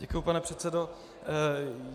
Děkuji, pane předsedo.